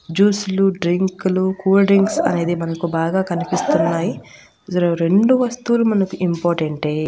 Juice లు డ్రింకులు cool drinks అనేది మనకు బాగా కనిపిస్తున్నాయి జర రెండు వస్తువులు మనకు ఇంపార్టెంట్ టే .